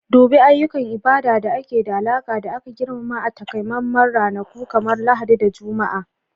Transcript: Dubi ayyukan ibada da ke da alaƙa da aka girmama a takamaiman ranaku kamar Lahadi da Juma'a.